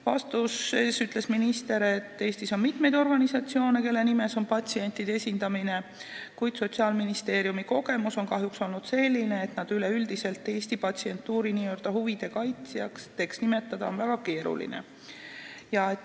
Vastuseks ütles minister, et Eestis on mitmeid organisatsioone, kes nime järgi peaksid patsiente esindama, kuid Sotsiaalministeeriumi kogemus on kahjuks olnud selline, et neid on Eesti patsientuuri n-ö huvide kaitsjateks nimetada väga keeruline.